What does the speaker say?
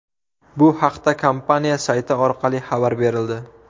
Bu haqda kompaniya sayti orqali xabar berildi .